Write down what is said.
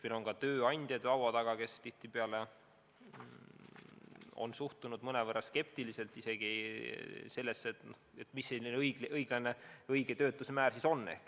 Meil on olnud laua taga ka tööandjad, kes tihtipeale on suhtunud mõnevõrra skeptiliselt isegi ametlikku töötuse näitajasse ja küsinud, mis see õige töötuse määr ikkagi on.